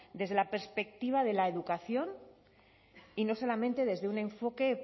desde la perspectiva de la educación y no solamente desde un enfoque